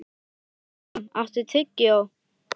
Mirjam, áttu tyggjó?